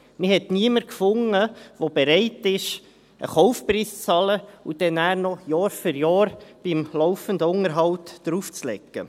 Man fand niemanden, der bereits war, einen Kaufpreis zu bezahlen und dann noch Jahr für Jahr beim laufenden Unterhalt draufzulegen.